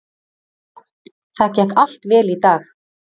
Það gekk allt vel í dag.